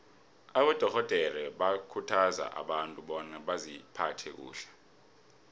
abadorhodere bakhuthaza abantu bona baziphathe kuhle